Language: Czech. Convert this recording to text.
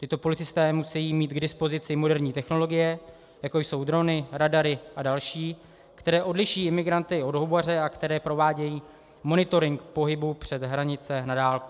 Tito policisté musí mít k dispozici moderní technologie, jako jsou drony, radary a další, které odliší imigranty od houbaře a které provádějí monitoring pohybu přes hranice na dálku.